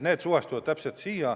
Need suhestuvad sellega täpselt nii.